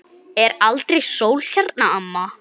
Er aldrei sól hérna, amma?